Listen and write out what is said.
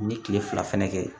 N ye kile fila fɛnɛ kɛ